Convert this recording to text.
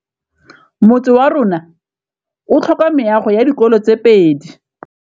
Motse warona o tlhoka meago ya dikolô tse pedi.